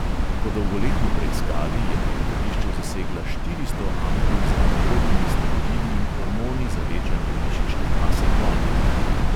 Po dolgoletni preiskavi je na letališču zasegla štiristo ampul z anabolnimi steroidi in hormoni za večanje mišične mase konjev.